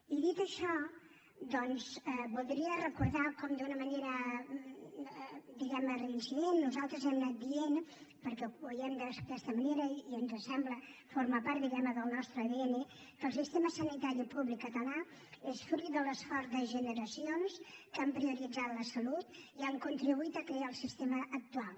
i dit això doncs voldria recordar com d’una manera diguem ne reincident nosaltres hem anat dient perquè ho veiem d’aquesta manera i ens sembla que forma part diguem ne del nostre adn que el sistema sanitari públic català és fruit de l’esforç de generacions que han prioritzat la salut i han contribuït a crear el sistema actual